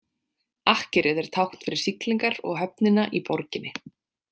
Akkerið er tákn fyrir siglingar og höfnina í borginni.